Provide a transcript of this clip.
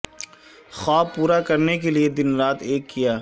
خواب پورے کرنے کے لئے دن رات ایک کیا